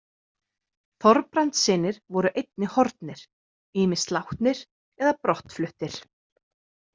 Þorbrandssynir voru einnig horfnir, ýmist látnir eða brottfluttir.